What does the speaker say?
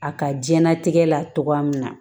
A ka diɲɛnatigɛ la togo min na